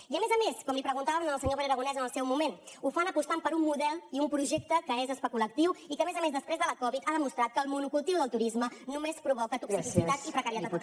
i a més a més com li preguntàvem al senyor pere aragonès en el seu moment ho fan apostant per un model i un projecte que és especulatiu i a més a més després que la covid ha demostrat que el monocultiu del turisme només provoca toxicitat i precarietat